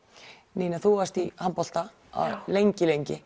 Nína þú varst í handbolta lengi lengi